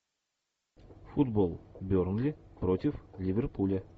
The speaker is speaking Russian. футбол бернли против ливерпуля